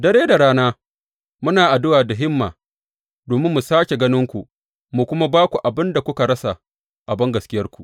Dare da rana muna addu’a da himma domin mu sāke ganinku, mu kuma ba ku abin da kuka rasa a bangaskiyarku.